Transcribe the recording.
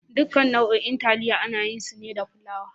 Duka nau'o'in taliya ana yin su ne da fulawa.